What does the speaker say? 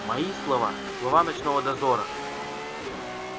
мои слова слова ночного дозора